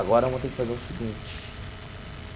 Agora, vamos ter que fazer o seguinte.